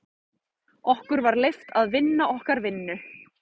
Okkur var leyft að vinna okkar vinnu.